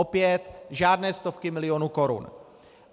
Opět žádné stovky milionů korun.